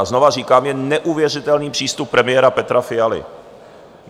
A znovu říkám, je neuvěřitelný přístup premiéra Petra Fialy.